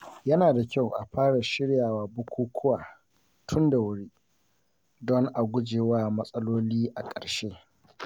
Yana da kyau a fara shiryawa bukukuwa tun da wuri, don a gujewa matsaloli a ƙarshe.